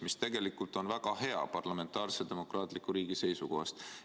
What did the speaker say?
See tegelikult on väga hea parlamentaarse demokraatliku riigi seisukohast.